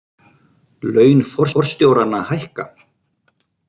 Laun forstjóranna hækka